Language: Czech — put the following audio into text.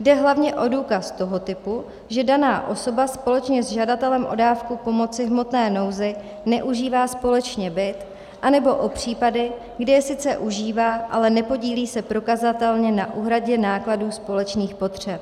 Jde hlavně o důkaz toho typu, že daná osoba společně s žadatelem o dávku pomoci v hmotné nouzi neužívá společně byt, anebo o případy, kdy je sice užívá, ale nepodílí se prokazatelně na úhradě nákladů společných potřeb.